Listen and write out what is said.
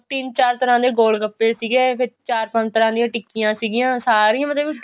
ਤਿੰਨ ਚਾਰ ਤਰ੍ਹਾਂ ਦੇ ਗੋਲਗੱਪੈ ਸੀਗੇ ਫੇਰ ਚਾਰ ਪੰਜ ਤਰ੍ਹਾਂ ਦੀਆਂ ਟਿੱਕੀਆਂ ਸੀਗੀਆਂ ਮਤਲਬ